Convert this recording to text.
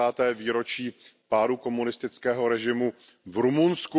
30. výročí pádu komunistického režimu v Rumunsku.